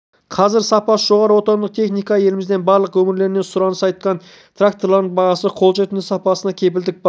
қазір сапасы жоғары отандық техникаға еліміздің барлық өңірлерінен сұраныс артқан тракторларың бағасы қолжетімді сапасына кепілдік бар